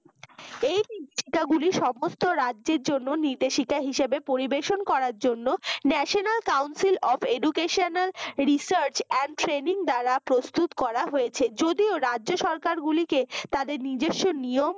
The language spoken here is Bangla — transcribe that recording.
এই নির্দেশিকা গুলি সমস্ত রাজ্যের জন্য নির্দেশিকা হিসাবে পরিবেশন করার জন্য national council of educational research and training দ্বারা প্রস্তুত করা হয়েছে যদিও রাজ্য সরকার গুলিকে তাদের নিজস্ব নিয়ম